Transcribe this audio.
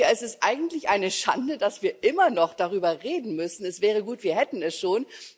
Ich denke, es ist eigentlich eine Schande, dass wir immer noch darüber reden müssen es wäre gut, wir hätten es schon.